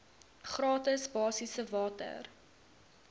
gratis basiese water